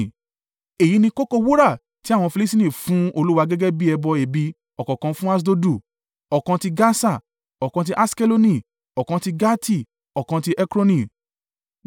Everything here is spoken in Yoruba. Èyí ni kókó wúrà tí àwọn Filistini fún Olúwa gẹ́gẹ́ bí ẹbọ ẹ̀bi ọ̀kọ̀ọ̀kan fún Aṣdodu, ọ̀kan ti Gasa, ọ̀kan ti Aṣkeloni, ọ̀kan ti Gati, ọ̀kan ti Ekroni.